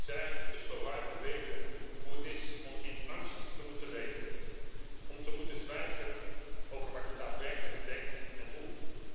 Zij, de Slowaken, weten hoe het is om in angst te moeten leven, om te moeten zwijgen over wat je daadwerkelijk denkt en voelt.